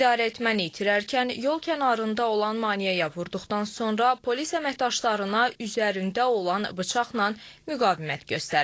İdarəetməni itirərkən yol kənarında olan maneəyə vurduqdan sonra polis əməkdaşlarına üzərində olan bıçaqla müqavimət göstərib.